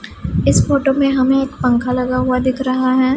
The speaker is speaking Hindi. इस फोटो में हमें एक पंखा लगा हुआ दिख रहा है।